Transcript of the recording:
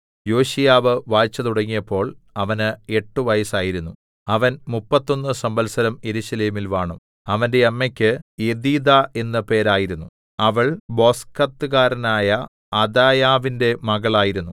യോശീയാവ് വാഴ്ച തുടങ്ങിയപ്പോൾ അവന് എട്ട് വയസ്സായിരുന്നു അവൻ മുപ്പത്തൊന്ന് സംവത്സരം യെരൂശലേമിൽ വാണു അവന്റെ അമ്മക്ക് യെദീദാ എന്ന് പേരായിരുന്നു അവൾ ബൊസ്കത്ത്കാരനായ അദായാവിന്റെ മകൾ ആയിരുന്നു